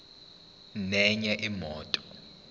nenye imoto